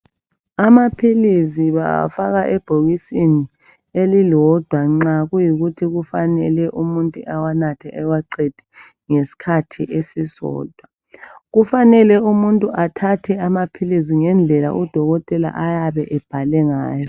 Amaphilisi bawafaka ebhokisini elilodwa nxa kuyikuthi kufanele umuntu ewanathe ewaqede ngesikhathi esisodwa. Kufanele ukuthi umuntu enathe amaphilisi ngendlela odokotela abayabe bebhale ngayo